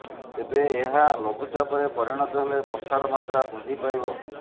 ତେବେ ଏହା ଳଘୁଚାପରେ ପରିଣତ ହେଲେ ବର୍ଷାର ମାତ୍ରା ବୃଦ୍ଧି ପାଇବ